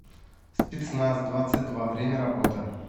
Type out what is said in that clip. спецназ двадцать два время работы